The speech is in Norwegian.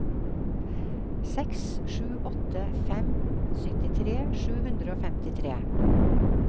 seks sju åtte fem syttitre sju hundre og femtitre